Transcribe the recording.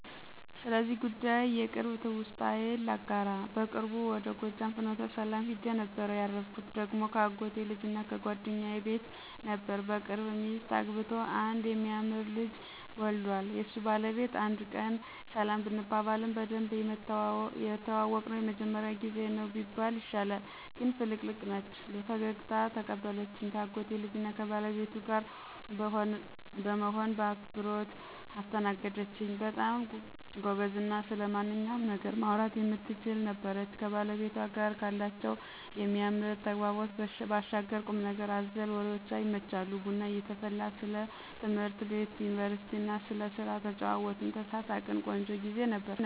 ስለዚህ ጉዳይ የቅርብ ትውስታዬን ላጋራ። በቅርቡ ወደ ጎጃም ፍኖተሰላም ሂጄ ነበር። ያረፍኩ ደግሞ ከአጎቴ ልጅና ጓደኛዬ ቤት ነበር። በቅርብ ሚስት አግብቶ አንድ የሚያምር ልጅ ዎልዷል። የሱ ባለቤት አንድ ቀን ሰላም ብንባባልም በደንብ የተዋወቅነው የመጀመሪያው ጊዜ ነው ቢባል ይሻላል። ግን ፍልቅልቅ ነች። በፈገግታ ተቀበለችኝ ከአጎቴ ልጅና ከባለቤቷ ጋር በመሆን በአክብሮት አስተናገደኝች። በጣም ጎበዝና ስለማንኛውም ነገር ማውራት የምትችል ነበረች። ከባለቤቷ ጋር ካላቸው የሚያምር ተግባቦት ባሻገር ቁምነገር አዘል ወሬዎቿ ይመቻሉ። ቡና እየተፈላ ስለ ትምህርት ቤት፣ ዩኒቨርስቲና ስለስራ ተጨዋወትን፣ ተሳሳቅን። ቆንጆ ግዜ ነበር።